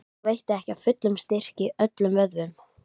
Þá veitti ekki af fullum styrk í öllum vöðvum.